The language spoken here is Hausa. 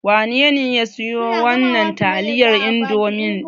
Wanene ya siyo wannan taliyar Indomi ɗin?